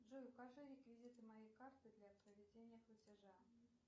джой укажи реквизиты моей карты для проведения платежа